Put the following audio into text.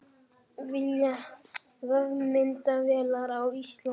Vilja vefmyndavélar á Íslandi